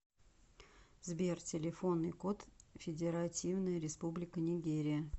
сбер телефонный код федеративная республика нигерия